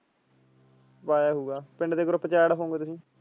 ਪਾਇਆ ਹੋਊਗਾ ਪਿੰਡ ਦੇ group ਚ add ਹੋਵੋਗੇ ਤੁਸੀਂ।